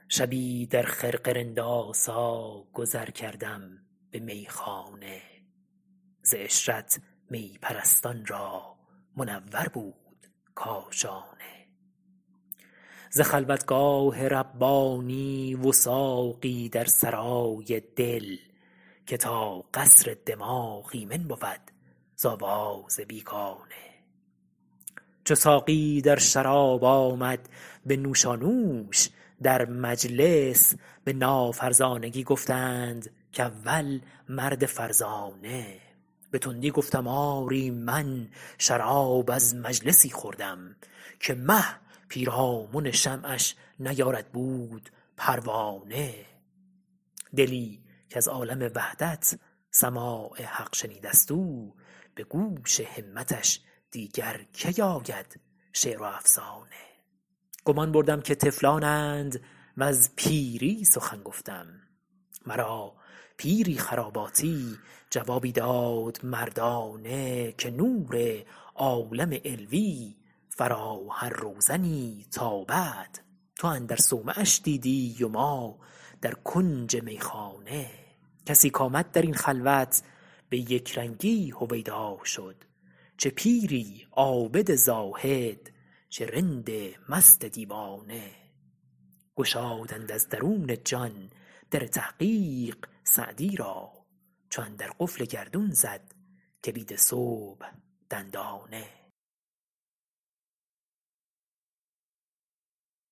شبی در خرقه رندآسا گذر کردم به میخانه ز عشرت می پرستان را منور بود کاشانه ز خلوتگاه ربانی وثاقی در سرای دل که تا قصر دماغ ایمن بود ز آواز بیگانه چو ساقی در شراب آمد به نوشانوش در مجلس به نافرزانگی گفتند کاول مرد فرزانه به تندی گفتم آری من شراب از مجلسی خوردم که مه پیرامن شمعش نیارد بود پروانه دلی کز عالم وحدت سماع حق شنیده ست او به گوش همتش دیگر کی آید شعر و افسانه گمان بردم که طفلانند وز پیری سخن گفتم مرا پیری خراباتی جوابی داد مردانه که نور عالم علوی فرا هر روزنی تابد تو اندر صومعش دیدی و ما در کنج میخانه کسی کآمد در این خلوت به یکرنگی هویدا شد چه پیری عابد زاهد چه رند مست دیوانه گشادند از درون جان در تحقیق سعدی را چو اندر قفل گردون زد کلید صبح دندانه